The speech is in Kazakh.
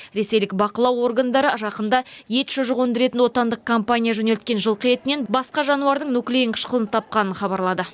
ресейлік бақылау органдары жақында ет шұжық өндіретін отандық компания жөнелткен жылқы етінен басқа жануардың нуклеин қышқылын тапқанын хабарлады